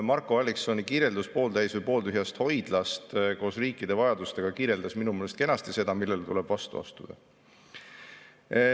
Marko Alliksoni kirjeldus pooltäis või pooltühjast hoidlast koos riikide vajadustega kirjeldas minu meelest kenasti seda, millele tuleb vastu astuda.